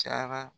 Cayara